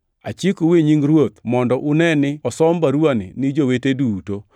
Achikou e nying Ruoth mondo une ni osom baruwani ne jowete duto.